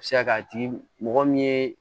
A bɛ se ka kɛ a tigi mɔgɔ min ye